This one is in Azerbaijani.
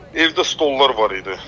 Evdə stollar var idi.